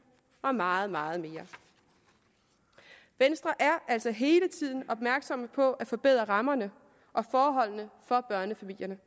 og meget meget mere venstre er altså hele tiden opmærksom på at forbedre rammerne og forholdene for børnefamilierne